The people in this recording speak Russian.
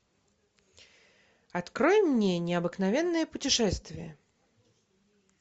открой мне необыкновенное путешествие